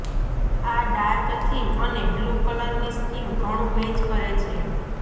આ dark theme અને blue કલરની સ્કીમ ઘણું મેચ કરે છે